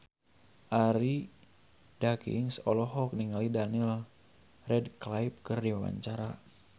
Arie Daginks olohok ningali Daniel Radcliffe keur diwawancara